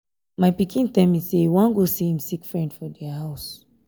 my pikin tell me say e wan go see im sick friend for their house